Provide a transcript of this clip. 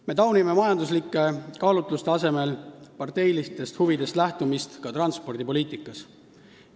Me taunime majanduslike kaalutluste asemel parteilistest huvidest lähtumist ka transpordipoliitikas.